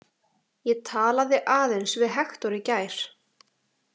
Ég talaði aðeins við Hektor í gær.